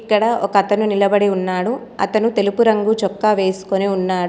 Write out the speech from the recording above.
ఇక్కడ ఒక అతను నిలబడి ఉన్నాడు అతను తెలుపు రంగు చొక్కా వేసుకుని ఉన్నాడు.